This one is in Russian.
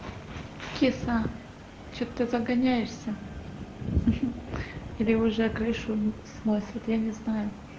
киса что ты загоняешься или уже крышу сносит я не знаю